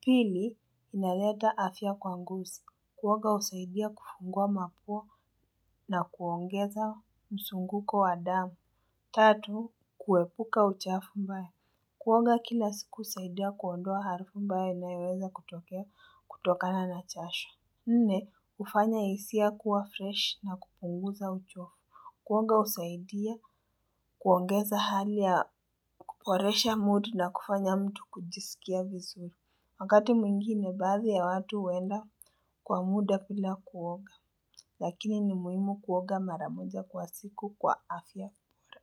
Pili, inaleta afya kwa ngosi. Kuonga husaidia kufungua mapua na kuongeza msunguko wa damu. Tatu, kuepuka uchafu mbaya. Kuonga kila siku husaidia kuondoa harufu mbaya inayoweza kutokea kutokana na chashu. Nne, hufanya hisia kuwa fresh na kupunguza uchovu. Kuoga husaidia kuongeza hali ya kuporesha mood na kufanya mtu kujisikia vizuri. Wakati mwingine, baadhi ya watu huenda kwa muda bila kuoga. Lakini ni muhimu kuoga mara moja kwa siku kwa afya bora.